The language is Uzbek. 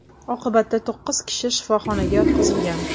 Oqibatda to‘qqiz kishi shifoxonaga yotqizilgan.